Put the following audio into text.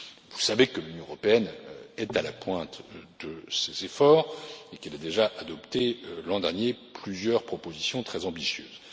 Vous savez que l'Union européenne est à la pointe de ces efforts et qu'elle a déjà adopté l'an dernier plusieurs propositions très ambitieuses.